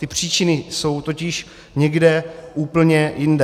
Ty příčiny jsou totiž někde úplně jinde.